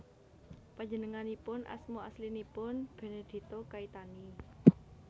Panjenenganipun asma aslinipun Benedetto Caetani